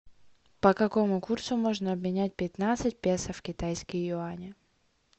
по какому курсу можно обменять пятнадцать песо в китайские юани